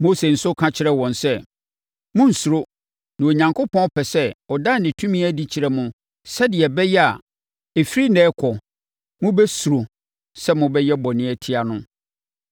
Mose nso ka kyerɛɛ wɔn sɛ, “Monnsuro na Onyankopɔn pɛ sɛ ɔda ne tumi adi kyerɛ mo sɛdeɛ ɛbɛyɛ a, ɛfiri ɛnnɛ rekɔ, mobɛsuro sɛ mobɛyɛ bɔne atia no.”